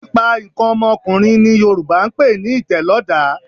Pípa nǹkan ọmọkùnrin ni Yorùbá ń pe ní ìtẹ̀lọ́dàá